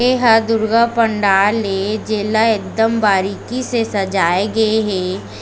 एहा दुर्गा पंडाल ए जेला एकदम बारीकी से सजाए गे हे।